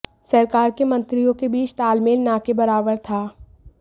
सरकार के मंत्रियों के बीच तालमेल न के बराबर था